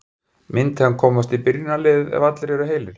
Myndi hann komast í byrjunarliðið ef allir eru heilir?